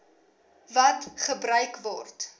wat gebruik word